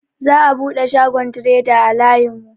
Za'a buɗe shagon treda a layin mu.